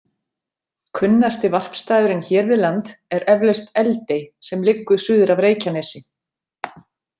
Kunnasti varpstaðurinn hér við land er eflaust Eldey sem liggur suður af Reykjanesi.